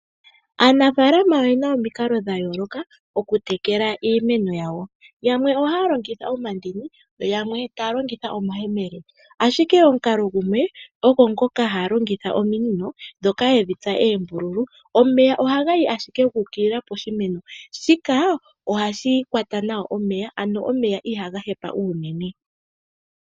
Aanafaalama oye na omikalo dha yooloka okutekela iimeno yawo. Yamwe oha ya longitha omandini yo yamwe taya longitha omayemele, ashike omukalo gumwe ogo ngoka gokulongitha ominino ndhoka yedhitsa oombulu. Omeya oha ga yi ashike gu ukilila koshimeno, shika oha shi kwata nawa omeya ano omeya ihaga hepa uunene.